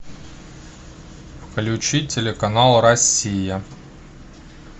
включи телеканал россия